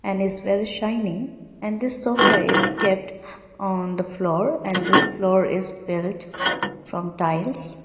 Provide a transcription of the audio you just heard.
and is very shiny and this sofa is kept on the floor and this floor is built from tiles.